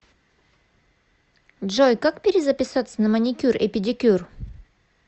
джой как перезаписаться на маникюр и педикюр